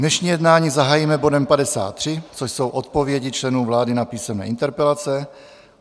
Dnešní jednání zahájíme bodem 53, což jsou odpovědi členů vlády na písemné interpelace.